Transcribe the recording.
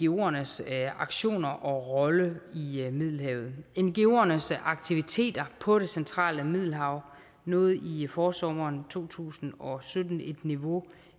ngoernes aktioner og rolle i middelhavet ngoernes aktiviteter på det centrale middelhav nåede i forsommeren to tusind og sytten et niveau